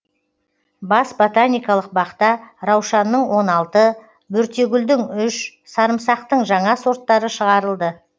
бас ботаникалық бақта раушанның он алты бөртегүлдің үш сарымсақтың жаңа сорттары шығарылды